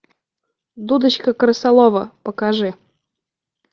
дудочка крысолова покажи